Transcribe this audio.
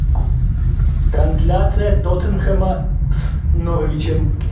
трансляция тоттенхэма с норвичем